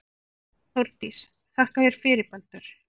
Þórdís: Þakka þér fyrir Baldur.